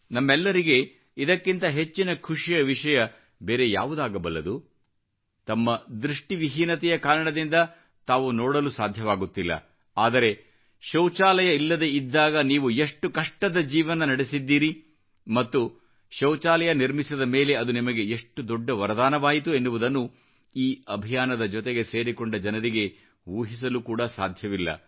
ನಮ್ಮೆಲ್ಲರಿಗೆ ಇದಕ್ಕಿಂತ ಹೆಚ್ಚಿನ ಖುಷಿಯ ವಿಷಯ ಬೇರೆ ಯಾವುದಾಗಬಲ್ಲದು ತಮ್ಮ ದೃಷ್ಟಿವಿಹೀನತೆಯ ಕಾರಣದಿಂದ ನೀವು ನೋಡಲು ಸಾಧ್ಯವಿಲ್ಲ ಆದರೆ ಶೌಚಾಲಯ ಇಲ್ಲದೆ ಇದ್ದಾಗ ನೀವು ಎಷ್ಟು ಕಷ್ಟದ ಜೀವನ ನಡೆಸಿದ್ದೀರಿ ಮತ್ತು ಶೌಚಾಲಯ ನಿರ್ಮಿಸಿದ ಮೇಲೆ ಅದು ನಿಮಗೆ ಎಷ್ಟು ದೊಡ್ಡ ವರದಾನವಾಯಿತು ಎನ್ನುವುದನ್ನು ಈ ಅಭಿಯಾನದ ಜೊತೆಗೆ ಸೇರಿಕೊಂಡ ಜನರಿಗೆ ಊಹಿಸಲು ಕೂಡ ಸಾಧ್ಯವಿಲ್ಲ